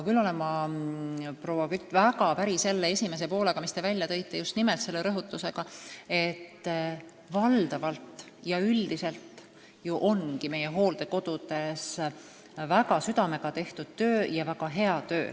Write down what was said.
Küll olen ma, proua Kütt, väga päri selle esimese poolega, mis te rõhutasite, et valdavalt, üldiselt on meie hooldekodudes tehtud tööd südamega ja väga hästi.